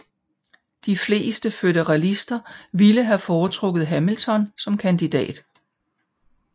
De fleste føderalister ville have foretrukket Hamilton som kandidat